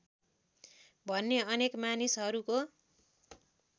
भन्ने अनेक मानिसहरूको